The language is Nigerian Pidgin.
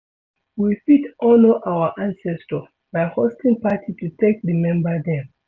we fit honour our ancestor by hosting party to take remember them